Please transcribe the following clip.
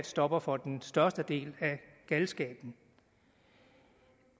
stopper for den største del af galskaben